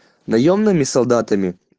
наёмными солдатами